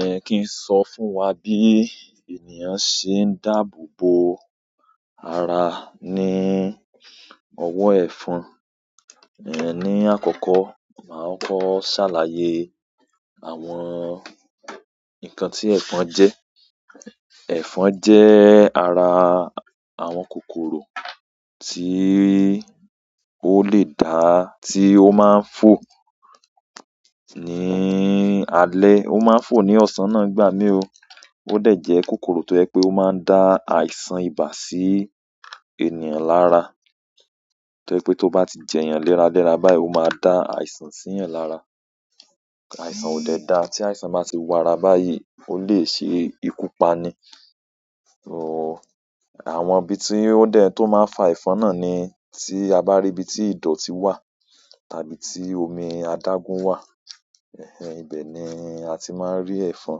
Dẹ́kíì sọ fún wà bí ènìyàn ṣe ń dáàbò bò àrà ní ọwọ́ ẹ̀fọn. Ìyẹn nì àkọkọ, màà kọkọ ṣàlàyè àwọn nkàn tì ẹfọn jẹ, ẹfọn jẹ àwọn àrà àwọn kòkòrò tí ó le dáà tí ó máa ń fò ní àlẹ́, ó máa ń fò ní ọ̀sán náà gbámi o. Òdẹ jẹ kòkòrò tò jẹ pè ò mà ń dà àìsàn ìbà sì ènìyàn làrà tọ́ jẹ pé tó bá ti jẹ èèyàn lérálérá báyìí, ó máa dá àìsàn sí èèyàn lárà. Àìsàn ò dẹ̀ dáà, tí àìsàn bá ti wàrà báyìí, ó lè ṣe ikú pà ni. Àwọn ibi tí ó dẹ̀ tó máa ń fa ẹ̀fọn náà ni tí à bá rí ibi tí ìdọ̀ti wà tàbí tí omi adágún wà. Ẹ̀n ẹ́n, ibẹ ni à ti máa ń rì ẹ̀fọn.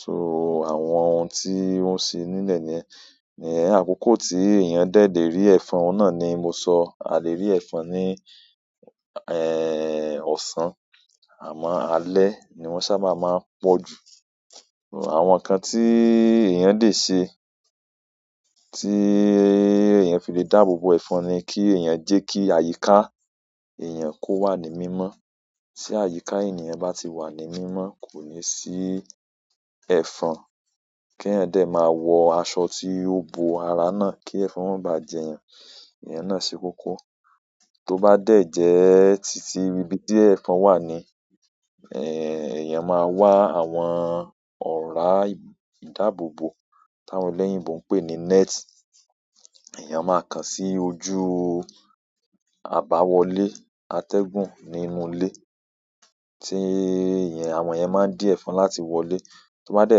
So àwọn ohun tí wọ́n ṣì nílẹ̀ ní ẹ̀. Ní àkọ́kọ̀ tí èèyàn dẹ̀ lé rí ẹ̀fọ́n, ọ̀nà ni mò sọ. À lè rí ẹ̀fọn ní ẹ̀, ọ̀sán àmọ́ àlẹ́ ni wọ́n sábà máà ń pọ̀ jù. Àwọn nǹkàn tí èèyàn lè ṣe tí èèyàn fi lè dáàbòbò ẹ̀fọn ni kí èèyàn jẹ́ kí àyíká èèyàn kó wà ní mímọ́. Tí àyíká ènìyàn bá ti wà ní mímọ́, kò ní sí ẹ̀fọn. Kí ẹ̀yàn dẹ̀ máà wọ àṣọ tí ó bò àrà náà, kí ẹ̀fọn ó mà bá à jẹ èèyàn, ìyẹn náà ṣe kọ́kọ́. Tó bá dẹ̀ jẹ́ títí, ibi díẹ̀ ẹ̀fọn wà ní ẹ̀. Èèyàn máà wa àwọn ọ̀ràà ìdáàbòbò, táwọn ẹlèyìn bọ̀ ń pè ní net. Èèyàn màà kàn sì òjù àbàwòlè àtẹgùn nì ìnù ìlè, tì ìyèn àwọn ìyẹn màà ń dì ẹfọn làtì wọlè tó bá dẹ́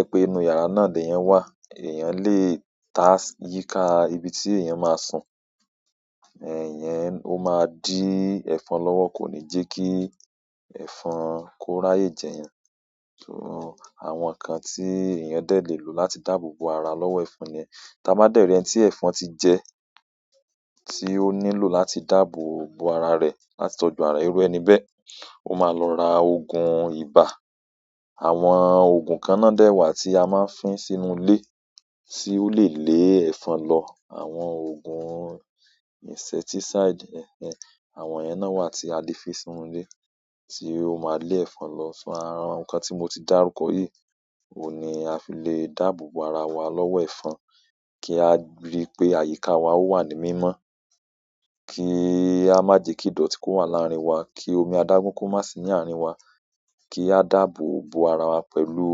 jẹ pé inú yàrá náà nì ẹnìyàn wà, èèyàn lè tá sí íká ibi tí èèyàn máa sùn. Èèyàn, ó máa dín ẹ̀fọn lọ́wọ́, kò ní jẹ́ kí ẹ̀fọn kó ráyè jẹ èèyàn. So àwọn nǹkàn tí èèyàn dẹ̀ lè lọ̀ láti dáàbò bò àrà lọ́wọ́ ẹ̀fọn ni ẹ́. Ti à bá dẹ̀ rí ẹní tí ẹ̀fọn ti jẹ, tí ó nílọ̀ láti dáàbò bò àrà rẹ̀, láti tọ́jú àrà rẹ̀, irú ẹni bẹ́, ó máa lọ rà òògùn ibà. Àwọn òògùn kàn náà dẹ̀ wà tí a máa ń fí sínú ilé tí ó lè lé ẹ̀fọn lọ. Àwọn oògùn insecticide, ẹ̀n ẹ́n, àwọn yẹn náà wà tí a lè fi sínú ilé tí ó máa lè ẹ̀fọn lọ́. So àwọn nǹkàn tí mò ti dárúkọ yìí ni à fi lè dáàbò bò àrà wà lọ́wọ́ ẹ̀fọn. Kí à rí pé àyíká wà ó wà ní mímọ́. Kí à má jẹ kí ìdọ̀tí kó wà làárín wà. Kí omi àdágún kó máa sí ní àárín wà. Kí à dáàbò bò àrà wà pẹ̀lú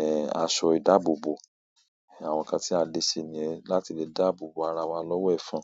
ẹ̀ àṣọ ìdáàbò bò. Àwọn nǹkàn tí à lè ṣe ni yẹ́n láti lè dáàbò bò àrà wà lọ́wọ́ ẹ̀fọn.